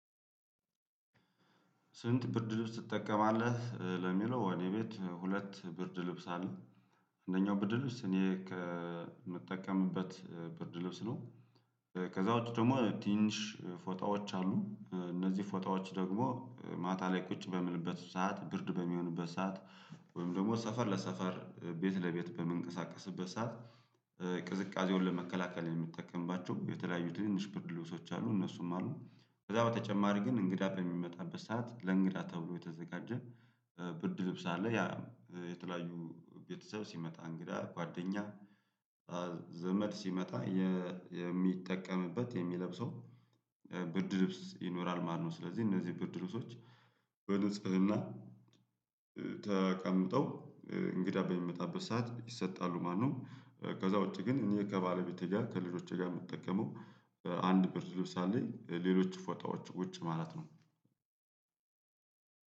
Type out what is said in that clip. ስንት ብርድ ልብስ ትጠቀማለህ? ለሚለው እኔ ቤት ሁለት ብርድ ልብስ አለ። አንደኛው ብርድ ልብስ እኔ ከምጠቀምበት ብርድ ልብስ ነው። ከዛ ውጪ ደግሞ ትንሽ ፎጣዎች አሉ እነዚህ ፎጣዎች ደግሞ ማታ ላይ ቁጭ በምልበት ሰዓት ብርድ በሚሆንበት ሰዓት ወይም ደግሞ ሰፈር ለሰፈር ቤት ለቤት በምንቀሳቀስበት ሰዓት። ቅዝቃዜውን ለመከላከል የምጠቀምባቸው የተለያዩ ትንንሽ ብርድ ልብሶች አሉ። እነሱም አሉ ከዛ በተጨማሪ ግን እንግዳ በሚመጣበት ሰዓት ለእንግዳ ተብሎ የተዘጋጀ ብርድ ልብስ አለ። ያ የተለያዩ ቤተሰብ ሲመጣ እንግዳ ጓደኛ ዘመድ ሲመጣ የሚጠቀምበት የሚለብሰው ብርድ ልብስ ይኖራል። ማነው ስለዚህ እነዚህ ብርድ ልብሶች በንጽህና ተቀምጠው እንግዳ በሚመጣበት ሰዓት ይሰጣሉ ማለት ነው። ከዛ ውጪ ግን እኔ ከባለቤቴ ጋር ከልጆቼ ጋር የምጠቀመው አንድ ብርድ ልብስ አለኝ ሌሎች ፎጣዎች ውጪ ማለት ነው።